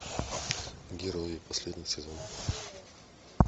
герои последний сезон